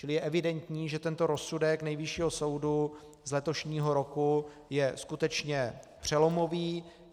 Čili je evidentní, že tento rozsudek Nejvyššího soudu z letošního roku je skutečně přelomový.